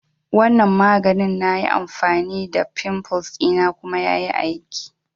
Wanan maganin na yi amfani da fimfles dina kuma ya yi aiki